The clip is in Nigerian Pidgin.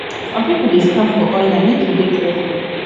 some pipo dey scam for online make you dey careful